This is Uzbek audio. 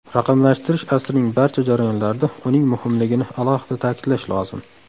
Raqamlashtirish asrining barcha jarayonlarida uning muhimligini alohida ta’kidlash lozim.